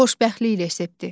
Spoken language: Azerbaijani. Xoşbəxtlik resepti.